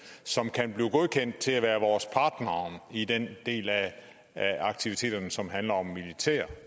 som kan blive godkendt til at være vores partnere i den del af aktiviteterne som handler om en militær